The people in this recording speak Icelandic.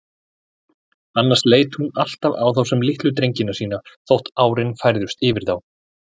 Annars leit hún alltaf á þá sem litlu drengina sína, þótt árin færðust yfir þá.